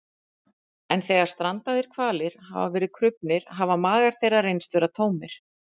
en þegar strandaðir hvalir hafa verið krufnir hafa magar þeirra reynst vera tómir